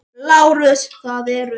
LÁRUS: Það eru.